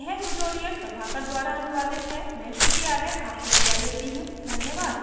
यह स्क्रिप्ट प्रभाकर द्वारा अनुवादित है मैं श्रुति आर्य आपसे विदा लेती हूँ धन्यवाद